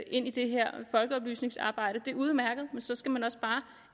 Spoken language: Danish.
ind i det her folkeoplysningsarbejde det er udmærket men så skal man også bare